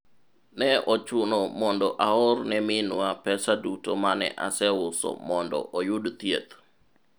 ne ochuno mondo aor ne minwa pesa duto mane aseuso mondo oyud thieth